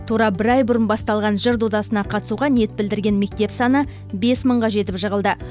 тура бір ай бұрын басталған жыр додасына қатысуға ниет білдірген мектеп саны бес мыңға жетіп жығылды